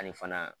Ani fana